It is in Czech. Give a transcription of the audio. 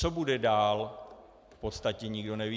Co bude dál, v podstatě nikdo neví.